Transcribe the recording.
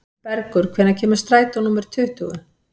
Bergur, hvenær kemur strætó númer tuttugu?